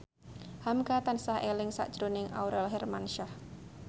hamka tansah eling sakjroning Aurel Hermansyah